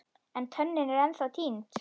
En tönnin er ennþá týnd.